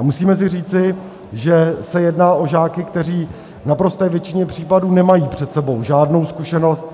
A musíme si říci, že se jedná o žáky, kteří v naprosté většině případů nemají před sebou žádnou zkušenost